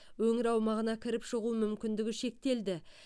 өңір аумағына кіріп шығу мүмкіндігі шектелді